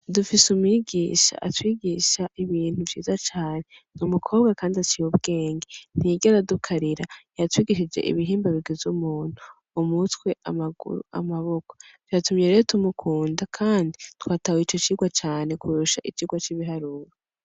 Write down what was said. Dufis'umwigisha atwigisha ibintu vyiza cane, n'umukobwa kandi aciy'ubwenge, ntiyigera adukarira yatwigishije ibihimba bigiz'umuntu, umutwe ,amaguru, amboko, vyatumye rero tumukunda ,kandi twatahuye ico cirwa cane kurusha icirwa c'ibiharuro.